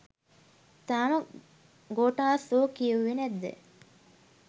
තාම ගෝඨාස් වෝ කියෙව්වෙ නැද්ද